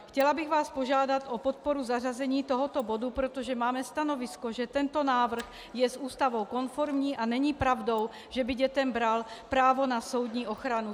Chtěla bych vás požádat o podporu zařazení tohoto bodu, protože máme stanovisko, že tento návrh je s Ústavou konformní a není pravdou, že by dětem bral právo na soudní ochranu.